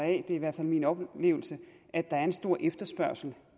er i hvert fald min oplevelse at der er en stor efterspørgsel